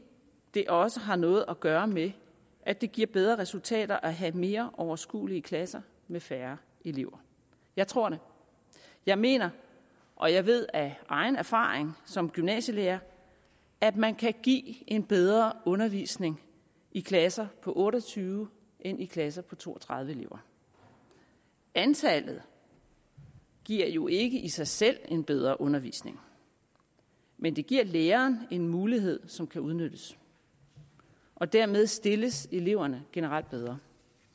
det også har noget at gøre med at det giver bedre resultater at have mere overskuelige klasser med færre elever jeg tror det jeg mener og jeg ved af egen erfaring som gymnasielærer at man kan give en bedre undervisning i klasser på otte og tyve end i klasser på to og tredive elever antallet giver jo ikke i sig selv en bedre undervisning men det giver læreren en mulighed som kan udnyttes og dermed stilles eleverne generelt bedre